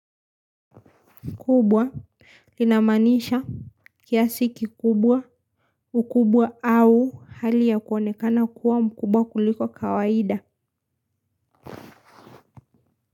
Kikubwa linamaanisha kiasi kikubwa ukubwa au hali ya kuonekana kuwa mkubwa kuliko kawaida.